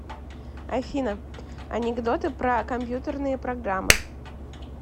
афина анекдоты про компьютерные программы